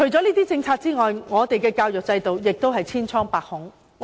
除了政策之外，我們的教育制度亦是千瘡百孔。